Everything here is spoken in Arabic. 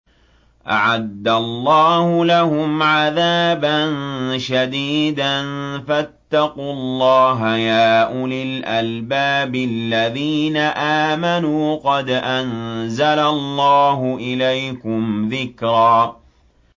أَعَدَّ اللَّهُ لَهُمْ عَذَابًا شَدِيدًا ۖ فَاتَّقُوا اللَّهَ يَا أُولِي الْأَلْبَابِ الَّذِينَ آمَنُوا ۚ قَدْ أَنزَلَ اللَّهُ إِلَيْكُمْ ذِكْرًا